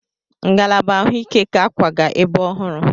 Ngalaba ahụike ga-akwaga ebe ọhụrụ.